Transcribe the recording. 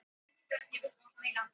inkar voru miklir handverksmenn